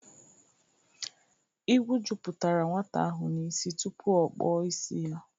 Ịgwụ jụpụtara nwata ahụ n'isi tụpụ ọ kpọ isi ya